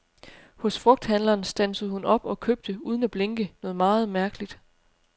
Hos frugthandleren standsede hun op og købte, uden at blinke, noget meget mærkeligt.